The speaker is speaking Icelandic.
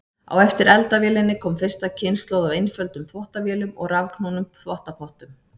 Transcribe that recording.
Á eftir eldavélinni kom fyrsta kynslóð af einföldum þvottavélum og rafknúnum þvottapottum.